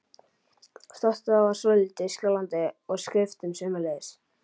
Stoltið var svolítið skjálfandi og skriftin sömuleiðis.